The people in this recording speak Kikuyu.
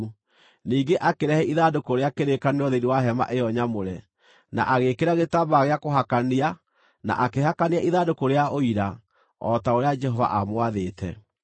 Ningĩ akĩrehe ithandũkũ rĩa kĩrĩkanĩro thĩinĩ wa hema ĩyo nyamũre, na agĩĩkĩra gĩtambaya gĩa kũhakania na akĩhakania ithandũkũ rĩa Ũira o ta ũrĩa Jehova aamwathĩte.